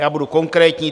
Já budu konkrétní.